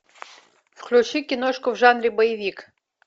включи киношку в жанре боевик